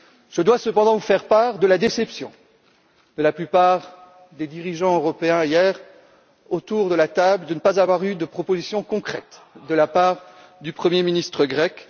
Je dois cependant vous faire part de la déception de la plupart des dirigeants européens réunis hier à Bruxelles de ne pas avoir eu de propositions concrètes de la part du Premier ministre grec.